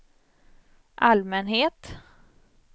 allmänhet